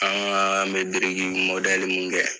An ŋaa me deregigi mun kɛ